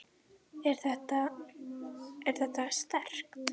Er þetta. er þetta sterkt?